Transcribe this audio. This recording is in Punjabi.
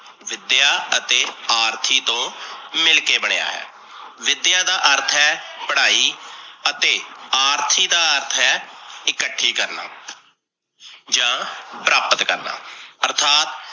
ਵਿਦਿਆ ਅਤੇ ਆਰਥੀ ਤੋਂ ਮਿਲ ਕੇ ਬਣਿਆ ਹੈ, ਵਿਦਿਆ ਦਾ ਅਰਥ ਹੈ।, ਪੜਾਈ ਅਤੇ ਆਰਥੀ ਦਾ ਅਰਥ ਹੈ, ਇਕੱਠੀ ਕਰਨਾ ਜਾਂ ਪ੍ਰਾਪਤ ਕਰਨਾ। ਆਰਥਤ